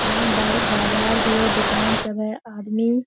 यहाँ बाहर बाजार भी है दुकान सब है आदमी --